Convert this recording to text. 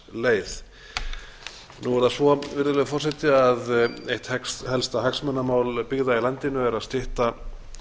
svínavatnsleið nú er það svo virðulegur forseti að eitt helsta hagsmunamál byggða í landinu er að stytta